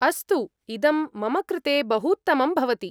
अस्तु, इदं मम कृते बहूत्तमं भवति।